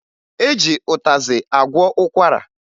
E ji ụtazị agwọ ụkwara